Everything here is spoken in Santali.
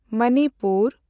ᱢᱚᱱᱤᱯᱩᱨ